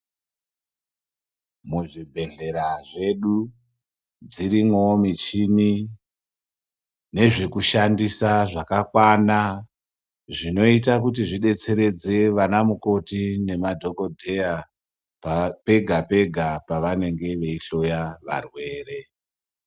Muzvibhedhlera zvedu dzirimwo michini nezve kushandisa wo zvakakwana zvinoita kuti zvidetseredze ana mukoti nemadhokodheya pega pega pavanenge veihloya varwere.